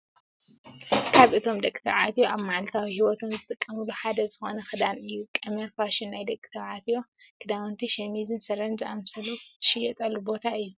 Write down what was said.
ካብ እቶም ደቂ ተባዕትዮ ኣብ ማዕልታዊ ሂወቶም ዝጥቀምሉ ሓደ ዝኮነ ክዳን እዩ። ቀመር ፋሽን ናይ ደቂ ተባዕትዮ ክዳውንቲ ሸሚዝን ስረን ዝኣመሰሉ ዝሽየጠሉ ቦታ እዩ።